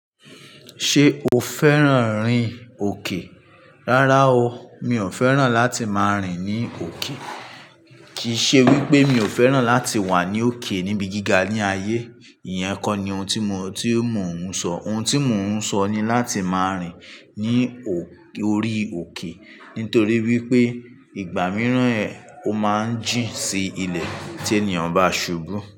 Ṣé o fẹ́ràn rìn òkè? Rárá o, mi ò fẹ́ràn láti máa rìn ní òkè. Kìí ṣe wípé mi ò fẹ́ràn láti wà ní òkè níbi gíga ní ayé, ìyẹn kọ́ ni ohun tí mo, tí mo ń sọ. Ohun tí mo ń sọ ni láti máa rìn ní òkè, orí òkè nítorí wípé ìgbà mìíràn ẹ, ó máa ń jì sí ilẹ̀ tí ènìyàn bá ṣubú.